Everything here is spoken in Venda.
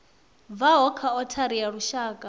bvaho kha othari ya lushaka